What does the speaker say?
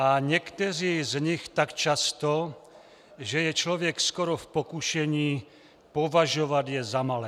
A někteří z nich tak často, že je člověk skoro v pokušení považovat je za malé."